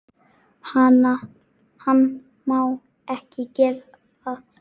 Hann má ekki gera það.